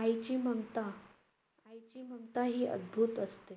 आईची ममता. आईची ममता ही अद्भुत असते.